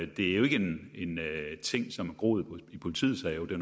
det er jo ikke en ting som er groet i politiets have det